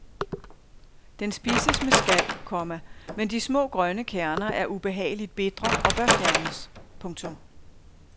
Den spises med skal, komma men de små grønne kerner er ubehageligt bitre og bør fjernes. punktum